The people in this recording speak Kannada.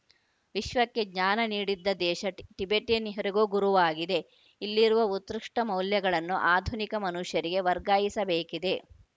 ವಿಶ್ವಕ್ಕೆ ಜ್ಞಾನ ನೀಡಿದ್ದ ದೇಶ ಟಿ ಟಿಬೆಟಿಯನ್ನರಿಗೂ ಗುರುವಾಗಿದೆ ಇಲ್ಲಿರುವ ಉತ್ಕೃಷ್ಟಮೌಲ್ಯಗಳನ್ನು ಆಧುನಿಕ ಮನುಷ್ಯರಿಗೆ ವರ್ಗಾಯಿಸಬೇಕಿದೆ